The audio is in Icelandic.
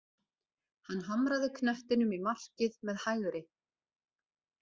Hann hamraði knettinum í markið með hægri.